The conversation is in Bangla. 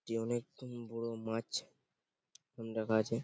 টি অনেক বড় মাছ রাখা আছে।